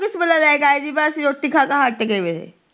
ਪਨੀਰ ਪਤਾ ਉਹ ਕਿਸ ਵੇਲੇ ਲੇ ਕ ਆਏ ਅਸੀਂ ਰੋਟੀ ਖਾ ਖਾ ਹੱਟ ਗੇ